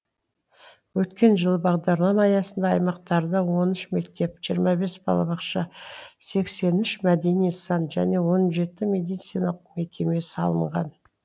өткен жылы бағдарлама аясында аймақтарда он үш мектеп жиырма бес балабақша сексен үш мәдени нысан және он жеті медициналық мекеме салынған